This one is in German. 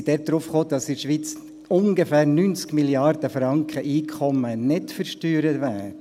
Diese kamen darauf, dass in der Schweiz ungefähr 90 Mrd. Franken Einkommen nicht versteuert werden.